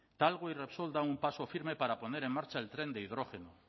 talgo y repsol dan un paso firme para poner en marcha el tren de hidrógeno